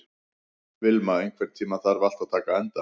Vilma, einhvern tímann þarf allt að taka enda.